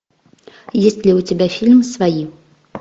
есть ли у тебя фильм свои